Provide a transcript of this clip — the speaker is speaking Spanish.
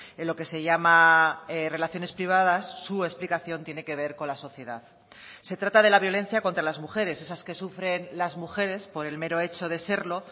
en lo que se llama relaciones privadas su explicación tiene que ver con la sociedad se trata de la violencia contra las mujeres esas que sufren las mujeres por el mero hecho de serlo